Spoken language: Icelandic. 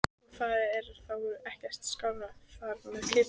Og það er þá ekkert skárra þar með kýrnar?